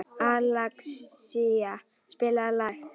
Alexía, spilaðu lag.